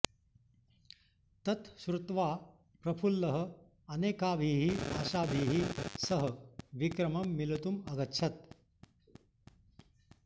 तत् श्रुत्वा प्रफुल्लः अनेकाभिः आशाभिः सह विक्रमं मिलितुम् अगच्छत्